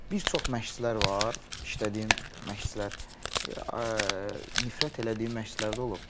Bir çox məşqçilər var, işlədiyim məşqçilər, nifrət elədiyi məşqçilər də olub.